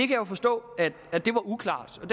kan jo forstå at det var uklart og